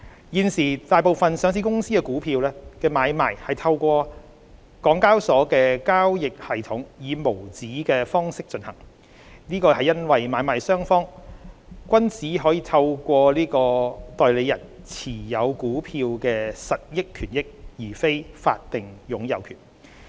現時，大部分上市公司股票的買賣是透過香港交易及結算所有限公司的交易系統以無紙的方式進行，這是因為買賣雙方均只透過代理人持有股票的實益權益而非股票的法定擁有權。